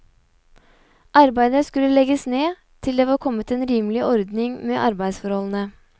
Arbeidet skulle legges ned til det var kommet en rimelig ordning med arbeidsforholdene.